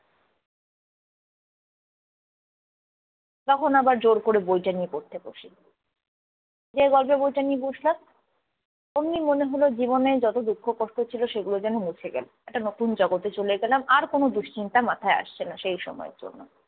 তখন আবার জোর করে বইটা নিয়ে পড়তে বসি। যেই গল্পের বইটা নিয়ে বসলাম অমনি মনে হল জীবনের যত দুঃখ কষ্ট ছিল সেগুলো যেন মুছে গেল। একটা নতুন জগতে চলে গেলাম আর কোন দুশ্চিন্তা মাথায় আসছে না সেই সময়ের জন্য।